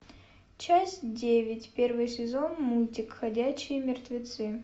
часть девять первый сезон мультик ходячие мертвецы